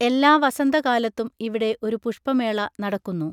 എല്ലാ വസന്തകാലത്തും ഇവിടെ ഒരു പുഷ്പമേള നടക്കുന്നു.